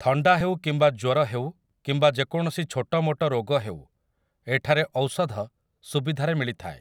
ଥଣ୍ଡା ହେଉ କିମ୍ବା ଜ୍ୱର ହେଉ କିମ୍ବା ଯେକୌଣସି ଛୋଟମୋଟ ରୋଗ ହେଉ ଏଠରେ ଔଷଧ ସୁବିଧାରେ ମିଳିଥାଏ ।